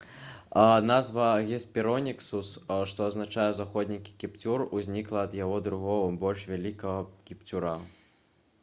назва «гесперонікус» што азначае «заходні кіпцюр» узнікла ад яго другога больш вялікага кіпцюра